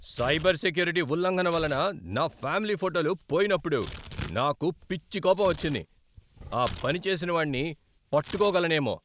Cyber security ఉల్లంఘన వలన నా ఫ్యామిలీ ఫోటోలు పోయినప్పుడు నాకు పిచ్చి కోపం వచ్చింది, ఆ పని చేసినవాణ్ణి పట్టుకోగలనేమో.